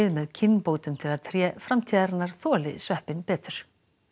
með kynbótum til að tré framtíðarinnar þoli sveppinn betur